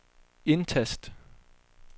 indtast